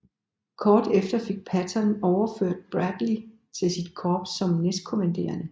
Kort tid efter fik Patton overført Bradley til sit korps som næstkommanderende